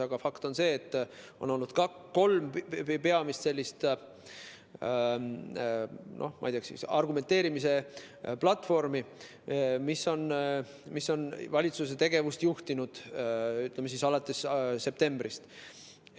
Aga fakt on see, et on olnud kolm peamist sellist, ma ei tea, argumenteerimise platvormi, mis on valitsuse tegevust juhtinud alates septembrist.